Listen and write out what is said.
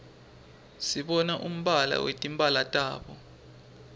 sibona umbala wetimphala tabo